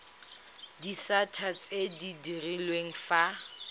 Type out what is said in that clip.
disata tse di direlwang fa